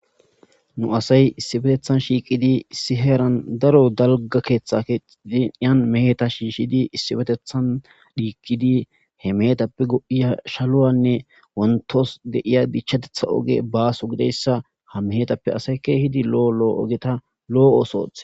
nu asay issibetethan shiiqidi issi heeran daro dalga keeththa kediiyan meeta shiishshidi issibetethan dhiikidi he meetappe go7iya shaluwanne wontos deiya gichchatetha oge baaso gideyssa ha meeetappe asayka hidi lo7o lo7o ogeta lo7o oosothe